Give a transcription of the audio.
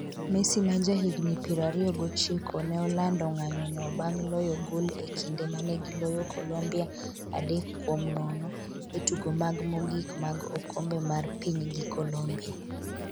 Messi ma jahigni piero ariyo gochiko ne olando ng'anyono bang' loyo gol e kinde manegiloyo Colombia adek kuom nono e tugo mag mogik mag okombe mar piny gi Colombia